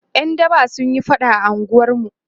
ƴan daba sunyi faɗa a unguwarmu